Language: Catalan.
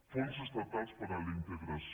fons estatals per a la integració